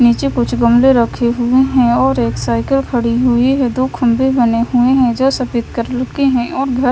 नीचे कुछ गमले रखे हुए हैं और एक साइकिल खड़ी हुई है। दो खंबे बने हुए हैं जो सफेद कलर के है ओर घर--